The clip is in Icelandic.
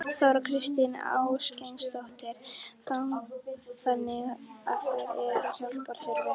Þóra Kristín Ásgeirsdóttir: Þannig að þær eru hjálpar þurfi?